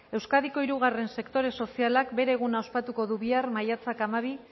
euskadiko hirugarren sektore sozialak bere eguna ospatuko du bihar maiatzak hamabi